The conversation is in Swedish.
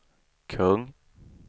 kung